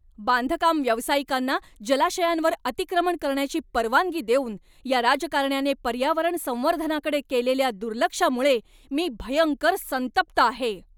बांधकाम व्यावसायिकांना जलाशयांवर अतिक्रमण करण्याची परवानगी देऊन या राजकारण्याने पर्यावरण संवर्धनाकडे केलेल्या दुर्लक्षामुळे मी भयंकर संतप्त आहे.